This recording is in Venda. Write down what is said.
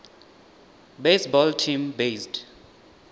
baseball team based